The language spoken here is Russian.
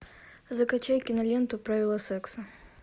закачай киноленту правила секса